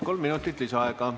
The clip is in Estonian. Kolm minutit lisaaega.